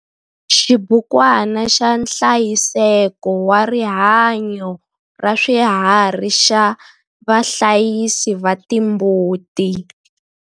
Xibukwana xa nhlayiseko wa rihanyo ra swiharhi xa vahlayisi va timbuti.